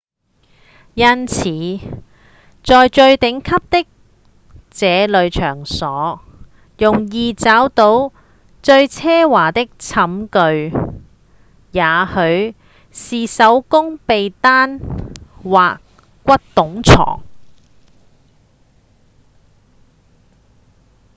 因此在最頂級的這類場所容易找到最奢華的寢具也許是手工被單或骨董床